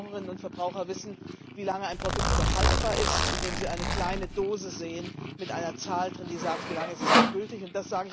Verbraucherinnen und Verbraucher wissen, wie lange ein Produkt noch haltbar ist, indem sie eine kleine Dose mit einer Zahl sehen, die angibt, wie lange es noch haltbar ist.